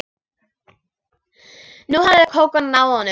Nú hafði Kókó náð honum.